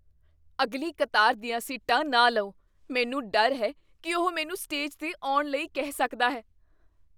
ਅਗਲੀ ਕਤਾਰ ਦੀਆਂ ਸੀਟਾਂ ਨਾ ਲਓ। ਮੈਨੂੰ ਡਰ ਹੈ ਕੀ ਉਹ ਮੈਨੂੰ ਸਟੇਜ 'ਤੇ ਆਉਣ ਲਈ ਕਹਿ ਸਕਦਾ ਹੈ।